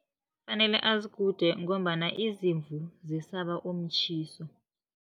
Kufanele azigude, ngombana izimvu zisaba umtjhiso.